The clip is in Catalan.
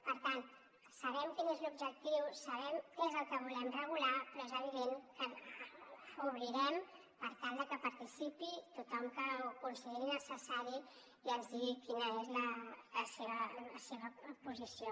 per tant sabem quin és l’objectiu sabem què és el que volem regular però és evident que obrirem per tal que hi participi tothom que ho consideri necessari i ens digui quina és la seva posició